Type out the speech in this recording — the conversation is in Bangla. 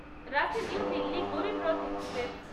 Ranchi New Delhi Garib Rath express